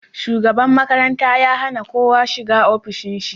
Shugaban makaranta ya hana kowa shiga ofishin shi